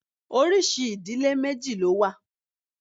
Oríṣi ìdílé méjì ló wà.